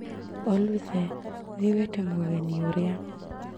Oludhe thiĩ wĩte mũgeni ũrĩa